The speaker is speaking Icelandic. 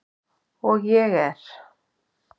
Og ég er.